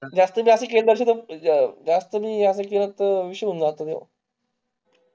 जास्त बी असं केलं जास्त बी असं केलं तर विषय होऊन जातो